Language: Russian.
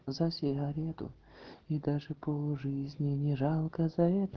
за сигарету и даже пол жизни не жалко за это